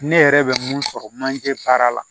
Ne yɛrɛ bɛ mun sɔrɔ manje baara la